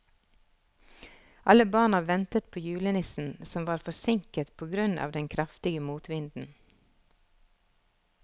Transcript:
Alle barna ventet på julenissen, som var forsinket på grunn av den kraftige motvinden.